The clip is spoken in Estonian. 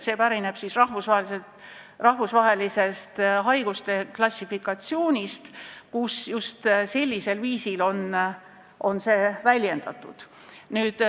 See pärineb rahvusvahelisest haiguste klassifikatsioonist, kus just sellisel viisil on seda väljendatud.